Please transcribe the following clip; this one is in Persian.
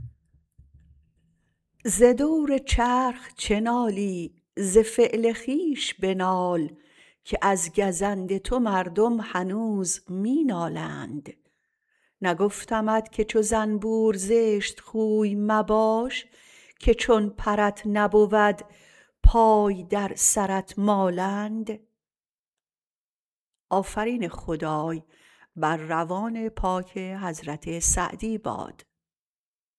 ز دور چرخ چه نالی ز فعل خویش بنال که از گزند تو مردم هنوز می نالند نگفتمت که چو زنبور زشت خوی مباش که چون پرت نبود پای در سرت مالند